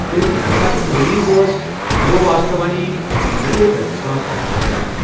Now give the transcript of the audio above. تَہٕنٛز اَمِہ پَتچہِ ریلیز ٲس نووو واستوانی، ننے پریمیستھا، تہٕ آزاد۔